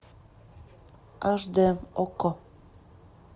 аш дэ окко